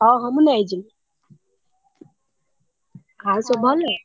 ହଁ ହଁ ମୁଁ ନେଇଯିବି ଆଉ ସବୁ ଭଲ?